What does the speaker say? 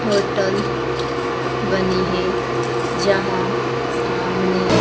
hotel बनी है जहां सामने--